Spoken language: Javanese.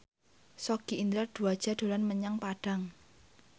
Sogi Indra Duaja dolan menyang Padang